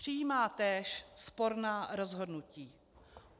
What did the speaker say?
Přijímá též sporná rozhodnutí.